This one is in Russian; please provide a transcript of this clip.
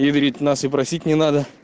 и говорит нас и просить не надо